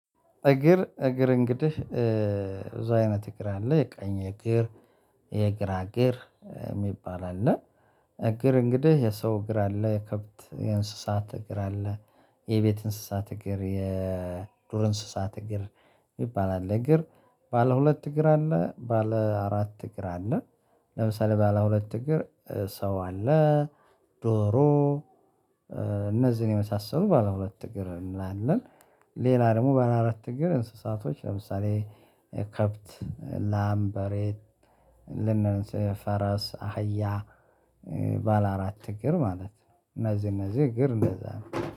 እግር እግር እንግዲህ ብዙ አይነት እግር አለ የቀኝ እግር የግራ የእግር የሚባል አለ እግር እንግዲህ የሰው እግር አለ የከብት የእንስሳት እግር አለ የቤት እንስሳት እግር የዱር እንስሳት እግር ይባላል እግር ባለ ሁለት እግር አለ ባለ አራት እግር አለ። ለምሳሌ ባለ ሁለት እግር ሰው አለ ዶሮ እነዚህን የመሳሰሉ ባለ ሁለት እግር እንላለን። ሌላ ደግሞ ባለ አራት እግር እንስሳቶች ለምሳሌ ከብት ላምበሬት ልንል ፈረስ አህያ ባለ አራት እግር ማለት ነው። እነዚህ እነዚህ እግር እነዛ ነው